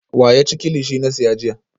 Wa ya ci kilichi na siya jiya?